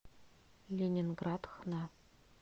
ленинград хна